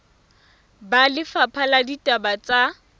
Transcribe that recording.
ba lefapha la ditaba tsa